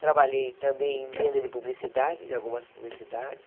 Trabalhei também em venda de publicidade, de algumas publicidades.